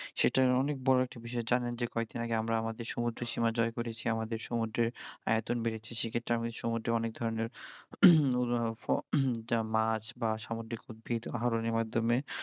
সেটার অনেক বড় একটা বিষয় জানেন যে কয়দিন আগে আমরা আমাদের সমুদ্রসীমা জয় করেছি আমাদের সমুদ্রের আয়তন বেড়েছে সে ক্ষেত্রে আমি সমুদ্রের অনেক ধরনের যা মাছ বা সামুদ্রিক উদ্ভিদ মাধ্যমে